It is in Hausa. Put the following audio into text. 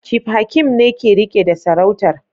Chief Hakeem ne ke rike da sarautar